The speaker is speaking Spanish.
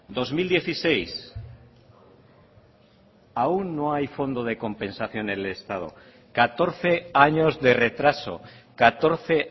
dos mil dieciséis aún no hay fondo de compensación en el estado catorce años de retraso catorce